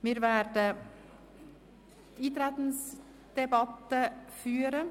Wir werden eine Eintretensdebatte führen.